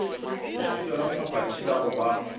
leswika lamphaphathi la go ba